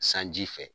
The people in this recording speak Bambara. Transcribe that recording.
Sanji fɛ